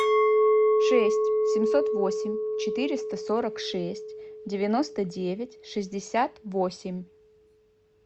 шесть семьсот восемь четыреста сорок шесть девяносто девять шестьдесят восемь